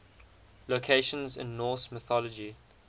locations in norse mythology